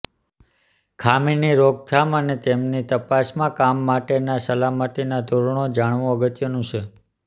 ખામીની રોકથામ અને તેમની તપાસમાં કામ માટેનાં સલામતીના ધોરણો જાણવું અગત્યનું છે